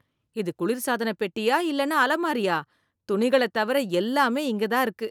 இது குளிர் சாதனப் பெட்டியா இல்லைனா அலமாரியா, துணிகளைத் தவிர எல்லாமே இங்க தான் இருக்கு.